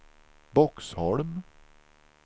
Boxholm